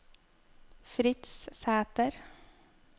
Fritz Sæter